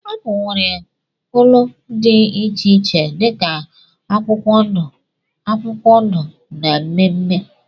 Apụl nwere cóló dị iche iche dika akwụkwọ ndụ akwụkwọ ndụ na mmee mmee.